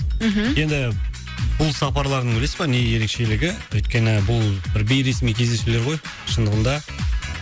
мхм енді бұл сапарлардың білесіз бе не ерекшелігі өйткені бұл бір бейресми кездесулер ғой шындығында